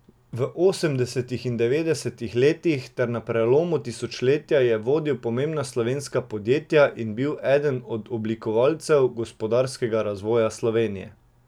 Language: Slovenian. V osemdesetih in devetdesetih letih ter na prelomu tisočletja je vodil pomembna slovenska podjetja in bil eden od oblikovalcev gospodarskega razvoja Slovenije.